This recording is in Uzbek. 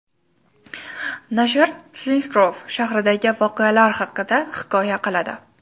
Nashr Silinsgrouv shahridagi voqealar haqida hikoya qiladi.